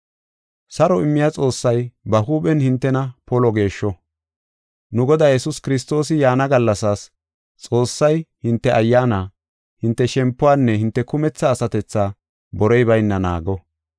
Saro immiya Xoossay ba huuphen hintena polo geeshsho. Nu Goday Yesuus Kiristoosi yaana gallasaas, Xoossay hinte ayyaana, hinte shempuwanne hinte kumetha asatethaa borey bayna naago.